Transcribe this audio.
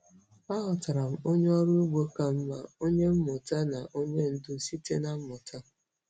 Aghọtara m onye ọrụ ugbo ka mma, onye mmụta na onye ndu site na mmụta.